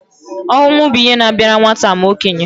Ọnwụ bụ ihe na-abịara nwata ma okenye